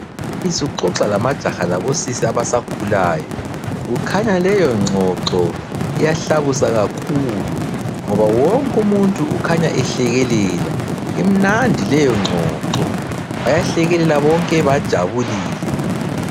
Umbalisi uxoxa lamajaha labosisi abasakhulayo. Kukhanya leyo ngxoxo iyahlabusa kakhulu ngoba wonkumuntu ukhanya ehlekelela. Imnandi leyongxoxo bayahlekelela bonke bajabulile.